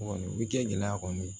Kɔni u bi kɛ gɛlɛya kɔni ye